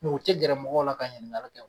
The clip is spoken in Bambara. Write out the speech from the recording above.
u tɛ gɛrɛ mɔgɔw la ka ɲininkali kɛ o.